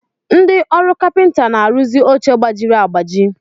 Ndị ọrụ kapịnta na-arụzi oche gbajiri agbaji.